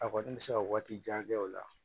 A kɔni bɛ se ka waati jan kɛ o la